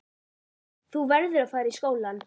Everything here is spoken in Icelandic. Þú verður að fara í skólann.